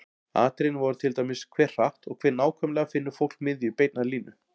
Atriðin voru til dæmis: Hve hratt og hve nákvæmlega finnur fólk miðju beinnar línu?